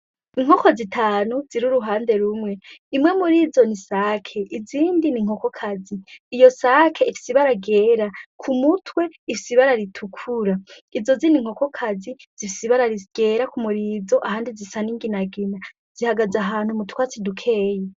Inkoko zitanu zir'uruhande rumwe: imwe murizo n'insake, izindi n'inkokokazi ,iyo nsake ifis'ibara ryera kumutwe ifis'umubiko utukura izo zindi nkokokazi zifise ibara ryera kumababa yinyuma ahandi zisa n'inginagina, zihagaz'ahantu mu twatsi dukeyi.